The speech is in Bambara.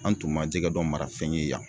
An tun ma jɛgɛ dɔn marafɛn ye yan